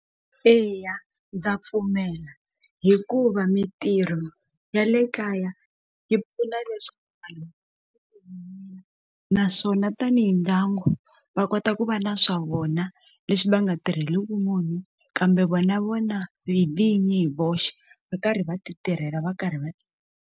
Eya ndza pfumela hikuva mintirho ya le kaya yi pfuna leswaku naswona tani mindyangu va kota ku va na swa vona leswi va nga tirhiki munhu kambe vona vona vinyi hi voxe va karhi va ti tirhela va karhi va.